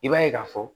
I b'a ye k'a fɔ